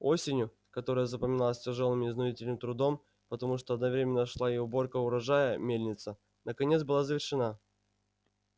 осенью которая запомнилась тяжелейшим изнурительным трудом потому что одновременно шла и уборка урожая мельница наконец была завершена